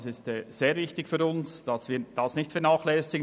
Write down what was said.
Für uns ist es sehr wichtig, dass wir das nicht vernachlässigen.